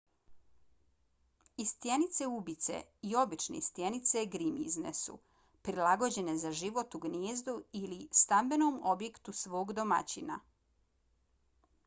i stjenice ubice i obične stjenice grimizne su prilagođene za život u gnijezdu ili stambenom objektu svog domaćina